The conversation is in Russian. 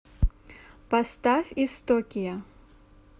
поставь истокия